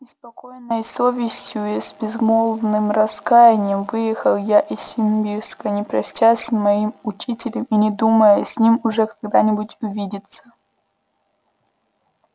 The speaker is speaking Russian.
с неспокойной совестию и с безмолвным раскаянием выехал я из симбирска не простясь с моим учителем и не думая с ним уже когда-нибудь увидеться